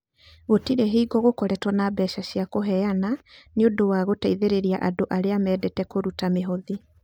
Gũtirĩ hingo gũkoretwo na mbeca cia kũheana nĩ ũndũ wa gũteithĩrĩria andũ arĩa mendete kũruta mĩhothi.